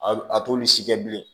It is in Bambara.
A t'olu si kɛ bilen